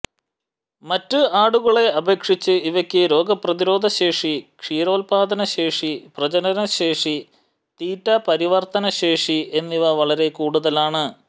മറ്റ് ആടുകളെ അപേക്ഷിച്ച് ഇവയ്ക്ക് രോഗ പ്രതിരോധശേഷി ക്ഷീരോത്പാദനശേഷി പ്രജനനശേഷി തീറ്റ പരിവർത്തന ശേഷി എന്നിവ വളരെ കൂടുതലാണ്